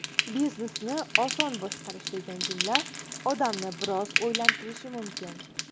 Biznesni oson boshqarish degan jumla odamni biroz o‘ylantirishi mumkin.